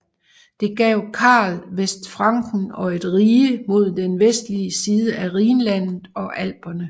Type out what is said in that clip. Det gav Karl Vestfranken og et rige mod den vestlige side af Rhinlandet og Alperne